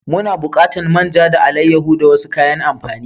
Muna bukatan man ja da alaiyaho da wasu kayan amfani.